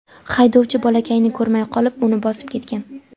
Haydovchi bolakayni ko‘rmay qolib, uni bosib ketgan.